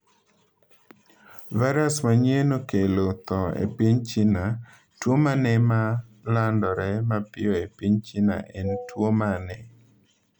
Virus manyien okelo tho e piny China Tuo mane ma landore mapiyo e piny China en tuwo mane?